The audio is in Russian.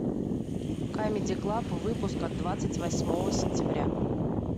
камеди клаб выпуск от двадцать восьмого сентября